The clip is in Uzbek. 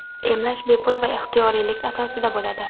emlash bepul va ixtiyoriylik asosida bo‘ladi.